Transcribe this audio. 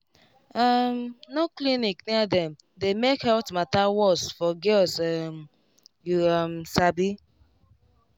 um no clinic near dem dey make health matter worse for girls um you um sabi